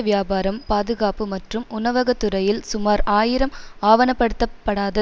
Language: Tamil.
வியாபாரம் பாதுகாப்பு மற்றும் உணவக துறையில் சுமார் ஆயிரம் ஆவணப்படுத்தப்படாத